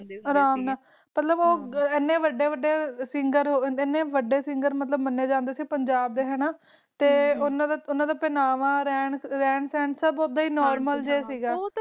ਅਰਾਮ ਨਾਲ, ਉਹ ਪੰਜਾਬ ਡੇ ਇਹਨੇ ਵਡੇ ਸਿੰਗਰ ਮਨਾਈ ਜਾਂਦੇ ਸੀ ਪਰ ਓਹਨਾ ਦਾ ਪਨਾਵਾਂ ਰਹਿਣ ਸਨ ਸਿਮਪਲੇ ਸੀ ਬੋਥ